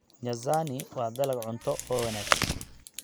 Nyazani waa dalag cunto oo wanaagsan.